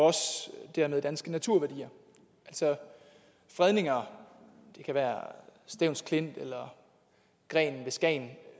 dermed også danske naturværdier altså fredninger det kan være stevns klint eller grenen ved skagen